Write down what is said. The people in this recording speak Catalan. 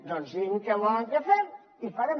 doncs diguin què volen que fem i farem